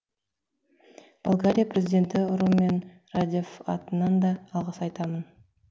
болгария президенті румен радев атынан да алғыс айтамын